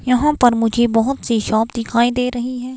यहां पर मुझे बहुत सी शॉप दिखाई दे रही हैं।